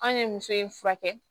An ye muso in furakɛ